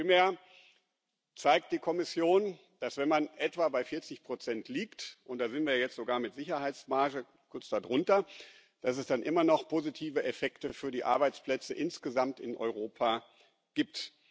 Vielmehr zeigt die Kommission, dass es, wenn man etwa bei 40 liegt und da sind wir jetzt sogar mit Sicherheitsmarge kurz darunter immer noch positive Effekte für die Arbeitsplätze insgesamt in Europa gibt.